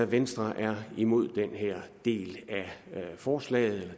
venstre er imod den her del af forslaget og